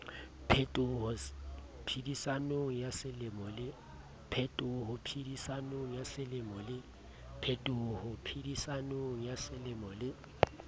phetoho phedisanong ya semelo le